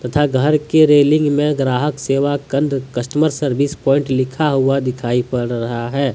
तथा घर के रेलिंग में ग्राहक सेवा केंद्र कस्टमर सर्विस प्वाइंट लिखा हुआ दिखाई पड़ रहा है।